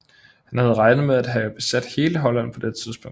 Han havde regnet med at have besat hele Holland på dette tidspunkt